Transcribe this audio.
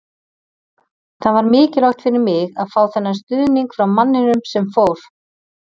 Það var mikilvægt fyrir mig að fá þennan stuðning frá manninum sem fór.